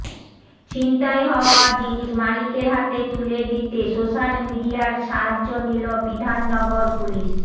ছিনতাই হওয়া জিনিস মালিকের হাতে তুলে দিতে সোশ্যাল মিডিয়ার সাহায্য নিল বিধাননগর পুলিস